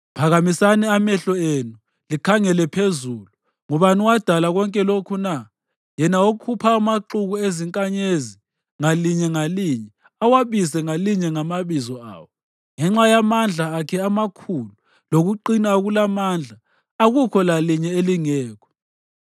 Phakamisani amehlo enu likhangele phezulu: Ngubani owadala konke lokhu na? Yena okhupha amaxuku ezinkanyezi ngalinye ngalinye, awabize ngalinye ngamabizo awo. Ngenxa yamandla akhe amakhulu lokuqina okulamandla, akukho lalinye elingekho.